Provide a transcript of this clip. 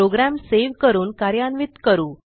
program save करून कार्यान्वित करू